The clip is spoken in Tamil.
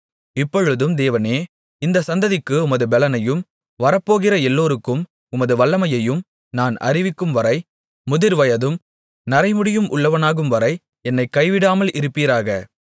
இப்பொழுதும் தேவனே இந்தச் சந்ததிக்கு உமது பெலனையும் வரப்போகிற எல்லோருக்கும் உமது வல்லமையையும் நான் அறிவிக்கும்வரை முதிர்வயதும் நரைமுடியும் உள்ளவனாகும்வரை என்னைக் கைவிடாமல் இருப்பீராக